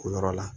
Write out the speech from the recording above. O yɔrɔ la